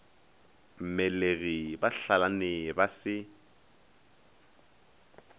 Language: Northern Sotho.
mmelegi ba hlalane ba se